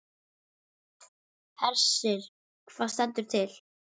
Hersir, hvað stendur til?